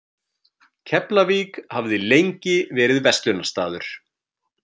Keflavík hafði lengi verið verslunarstaður.